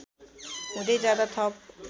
हुँदै जाँदा थप